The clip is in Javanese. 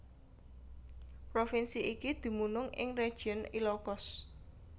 Provinsi iki dumunung ing Region Ilocos